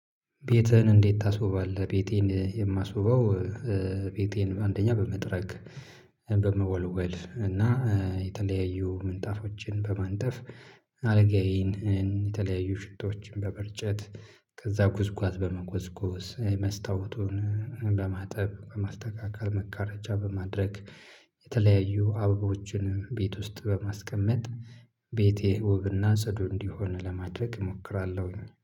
ቤትህን እንዴት ታስውባለህ? ቤቴን የማስውበው ቤቴን አንደኛ በመጥረግ በመወልወል እና የተለያዩ ምንጣፎችን በማንጠፍ አልጋዬን የተለያዩ ሽቶዎችን በመርጨት፤ ከዛ ጉዝጓዝ በመጎዝጎዝ መስታወቱን በማጠብ በማስተካከል መጋረጃ በማድረግ የተለያዩ አበቦችን ቤት ውስጥ በማስቀመጥ ቤቴ ውብና ጽዱ እንዲሆን ለማድረግ እሞክራለሁኝ።